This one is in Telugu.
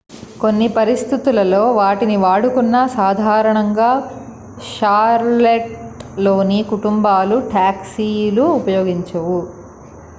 కొన్ని పరిస్థితులలో వాటిని వాడుకున్నా సాధారణంగా షార్లెట్లోని కుటుంబాలు టాక్సీలు ఉపయోగించవు